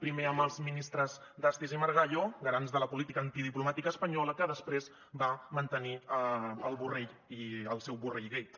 primer amb els ministres dastis i margallo garants de la política antidiplomàtica espanyola que després va mantenir borrell i el seu borrellgate